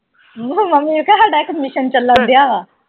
Mummy ਨੂੰ ਕਹਿ ਹਾਡਾ ਇਕ mission ਚਲਣ ਦਿਆ ਆ।